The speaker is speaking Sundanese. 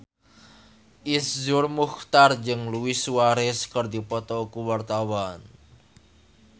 Iszur Muchtar jeung Luis Suarez keur dipoto ku wartawan